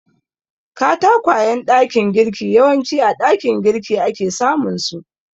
Katakwayen ɗakin girki yawanci a ɗakin girki ake samunsu.